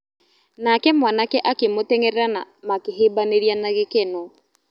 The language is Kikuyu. Nake mwanake akĩmũteng'erera na makĩhĩmbanĩria na gĩkeno.